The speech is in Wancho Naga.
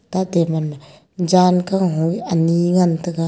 ta table ma jan kaho ee anyi ngan taga.